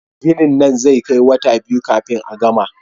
Ginin nan zai kai wata biyu kafin a gama